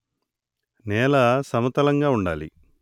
నేల సమతలంగా వుండాలి